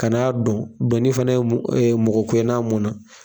Ka n'a don , donni fana ye mɔgɔ kuye n'a mun na.